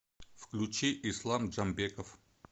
включи ислам джамбеков